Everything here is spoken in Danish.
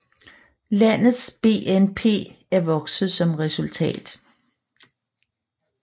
Landets BNP er vokset som resultat